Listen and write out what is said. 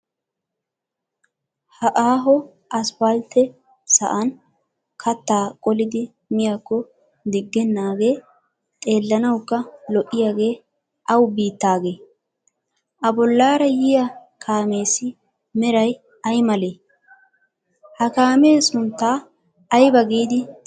Ha aaho asfalttee sa'an kattaa qolidi miyakko diggennaagee xeellanawukka lo"iyagee awa biittaagee? A bollaara yiya kaameessi meray aymalee? Ha kaamee sunttaa ayba giidi xeesiyo?